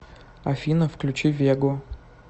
афина включи вегу